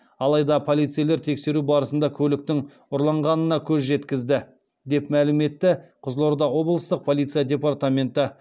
алайда полицейлер тексеру барысында көліктің ұрланғанына көз жеткізді деп мәлім етті қызылорда облыстық полиция департаменті